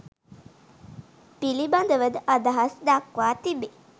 පිළිබඳව ද අදහස් දක්වා තිබේ